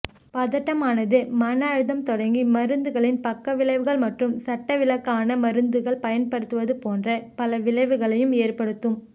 பதட்டமானது மனஅழுத்தம் தொடங்கி மருந்துகளின் பக்கவிளைவுகள் மற்றும் சட்டவிலக்கான மருந்துகள் பயன்படுத்துவது போன்ற பல விளைவுகளை ஏற்படுத்தும்